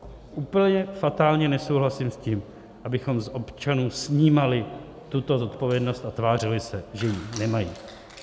Úplně fatálně nesouhlasím s tím, abychom z občanů snímali tuto zodpovědnost a tvářili se, že ji nemají.